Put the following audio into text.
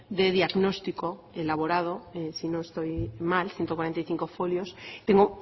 de diagnóstico elaborado si no estoy mal ciento cuarenta y cinco folios tengo